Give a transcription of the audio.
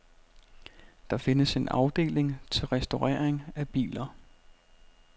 Der findes en afdeling til restaurering af biler.